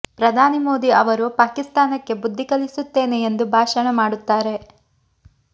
ಪ್ರಧಾನಿ ಮೋದಿ ಅವರು ಪಾಕಿಸ್ತಾನಕ್ಕೆ ಬುದ್ದಿ ಕಲಿಸುತ್ತೇನೆ ಎಂದು ಭಾಷಣ ಮಾಡುತ್ತಾರೆ